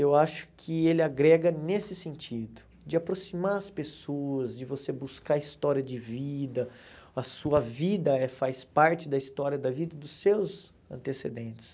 eu acho que ele agrega nesse sentido, de aproximar as pessoas, de você buscar a história de vida, a sua vida faz parte da história da vida dos seus antecedentes.